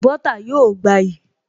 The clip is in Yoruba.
Bọ́ọ́tà yóò gbayì